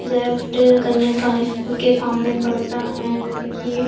left कन्या school के सामने पड़ता है जैसे की ये--